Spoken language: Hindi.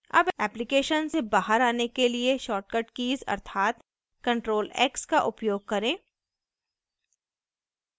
अब application से बाहर आने के लिए short कीज़ अर्थात ctrl x का उपयोग करें